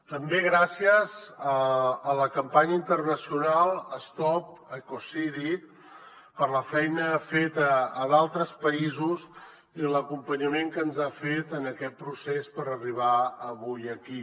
també gràcies a la campanya internacional stop ecocidi per la feina feta a d’altres països i l’acompanyament que ens ha fet en aquest procés per arribar avui aquí